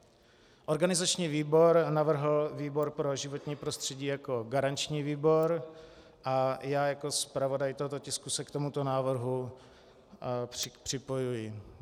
Organizační výbor navrhl výbor pro životní prostředí jako garanční výbor a já jako zpravodaj tohoto tisku se k tomuto návrhu připojuji.